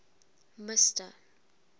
mister